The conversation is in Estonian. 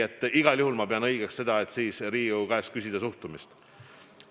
Aga igal juhul ma pean õigeks seda, et siis tuleb Riigikogu käest küsida suhtumist.